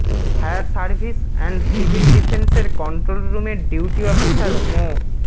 fire service and civil ডিফেন্সের control রুমের duty officer মো